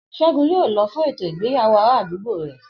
S̩égun yóò lo̩ fún ètò ìgbéyàwó ará àdúgbò rè̩